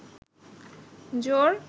জোর